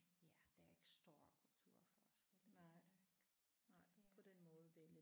Ja der er ikke stor kulturforskel det er der ikke det er der ikke